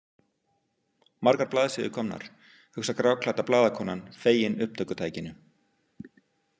Margar blaðsíður komnar, hugsar gráklædda blaðakonan, fegin upptökutækinu.